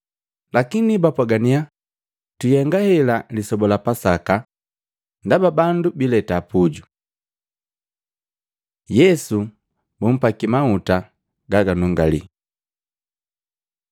Lakini bapwagannya, “Twihenga hela Lisoba la Pasaka, bandu bileta pujuu.” Yesu bumpaki mahuta gaganungalii Matei 26:6-13; Yohana 12:1-8